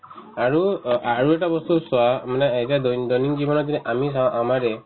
আৰু অ আৰু এটা বস্তু চোৱা মানে এতিয়া দৈন~ দৈনন্দিন জীৱনত যদি আমি চাও আমাৰে